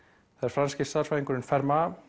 franski stærðfræðingurinn